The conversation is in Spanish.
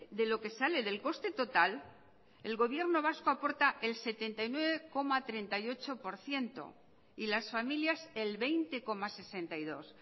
de lo que sale del coste total el gobierno vasco aporta el setenta y nueve coma treinta y ocho por ciento y las familias el veinte coma sesenta y dos